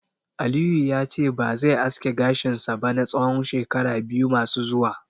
Aliyu yace ba zai aske gashin sa ba na tsawon shekara biyu masu zuwa